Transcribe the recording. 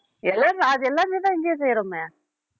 எல்லாமே அது எல்லாமே தான் இங்கேயே செய்றோமே